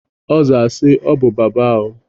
Ọ zaa si, "Ọ bụ Baba o."